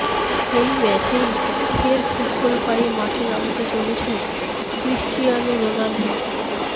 এই ম্যাচেই ফের ফুটবল পায়ে মাঠে নামতে চলেছেন ক্রিশ্চিয়ানো রোনাল্ডো